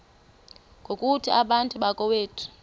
ngokuthi bantu bakowethu